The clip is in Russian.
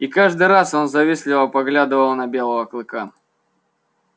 и каждый раз он завистливо поглядывал на белого клыка